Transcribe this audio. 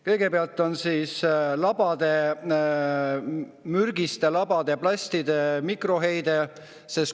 Kõigepealt on labade mürgiste plastide mikroheide.